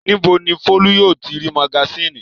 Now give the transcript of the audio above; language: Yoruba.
Níbo ni Folú yóò ti rí magasínì?